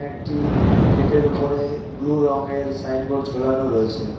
একটি গেটের উপরে ব্লু রংয়ের সাইনবোর্ড ঝোলানো রয়েছে।